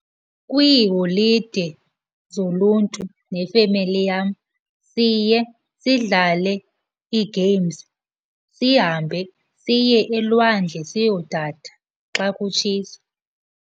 Kwiiholide zoluntu nefemeli yam siye sidlale ii-games, sihambe siye elwandle siyodada xa kutshisa.